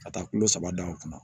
Ka taa kulo saba dan kunna